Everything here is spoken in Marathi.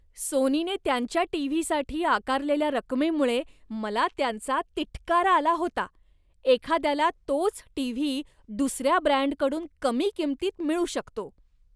सोनीने त्यांच्या टीव्हीसाठी आकारलेल्या रकमेमुळे मला त्यांचा तिटकारा आला होता, एखाद्याला तोच टीव्ही दुसऱ्या ब्रँडकडून कमी किंमतीत मिळू शकतो.